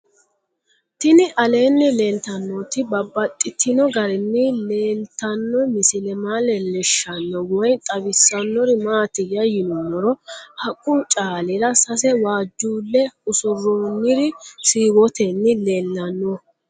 Tinni aleenni leelittannotti babaxxittinno garinni leelittanno misile maa leelishshanno woy xawisannori maattiya yinummoro haqqu caalira sase waajjule usuroonniri siiwottenni leelanno